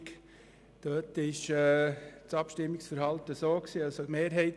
: Die Mehrheit der GSoK stimmt diesem Antrag nicht zu.